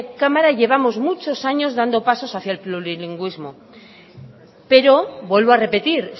cámara llevamos muchos años dando pasos hacía el plurilingüismo pero vuelvo a repetir